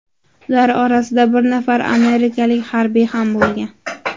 Ular orasida bir nafar amerikalik harbiy ham bo‘lgan.